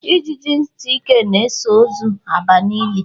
Ijiji ntị ike na-eso ozu aba n'ili